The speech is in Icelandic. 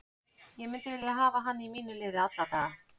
Ég myndi vilja hafa hann í mínu liði alla daga.